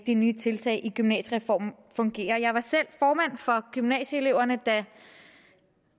nye tiltag i gymnasiereformen fungerer jeg var selv formand for gymnasieeleverne da